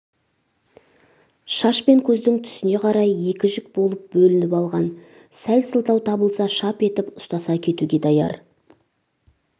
шаш пен көздің түсіне қарай екі жік болып бөлініп алған сәл сылтау табылса шап етіп ұстаса кетуге даяр